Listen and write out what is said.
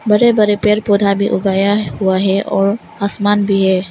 बड़े बड़े पेड़ पौधा भी हो गया हुआ है और आसमान भी है।